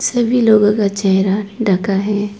सभी लोगों का चेहरा ढका है।